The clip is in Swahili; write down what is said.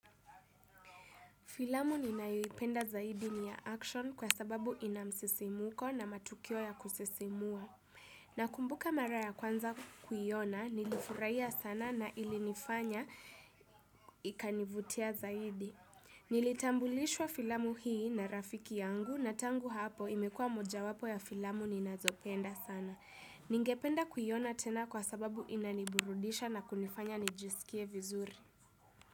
Filamu ninayoipenda zaidi ni ya action kwa sababu ina msisimuko na matukio ya kusisimua. Nakumbuka mara ya kwanza kuyiona, nilifuraiya sana na ilinifanya ikanivutia zaidi. Nilitambulishwa filamu hii na rafiki yangu na tangu hapo imekua moja wapo ya filamu ninazopenda sana. Ningependa kuyiona tena kwa sababu inaniburudisha na kunifanya nijisikie vizuri.